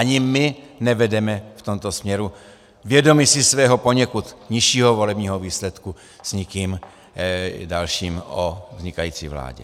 Ani my nevedeme v tomto směru, vědomi si svého poněkud nižšího volebního výsledku, s nikým dalším o vznikající vládě.